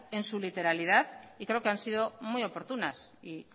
en su literalidad y creo que han sido muy oportunas y